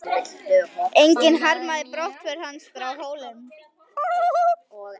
Enginn harmaði brottför hans frá Hólum.